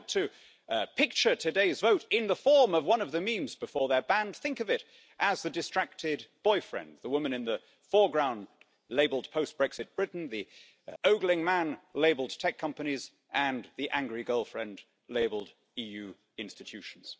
If you want to picture today's vote in the form of one of the memes before they are banned, then think of it as the distracted boyfriend the woman in the foreground labelled post Brexit Britain', the ogling man labelled tech companies' and the angry girlfriend labelled EU institutions'.